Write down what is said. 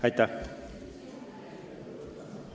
Aitäh!